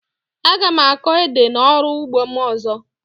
Aga m akọ ede na ọrụ ugbo m ọzọ